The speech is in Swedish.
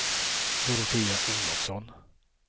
Dorotea Olofsson